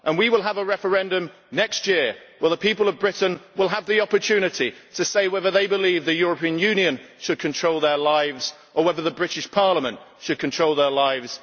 We will have a referendum next year, where the people of Britain will have the opportunity to say whether they believe the European Union should control their lives or whether the British Parliament should control their lives.